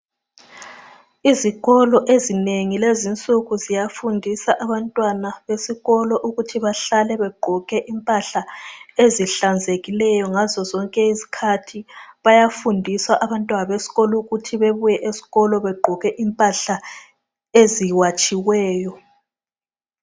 Izikolo ezinengi lezi nsuku ziyafundisa abantwana besikolo ukuthi bahlale begqoke impahla ezihlanzekileyo ngazo zonke izikhathi. Bayafundisa abantwana besikolo ukuthi bebuye begqoke impahla eziwatshiweyo.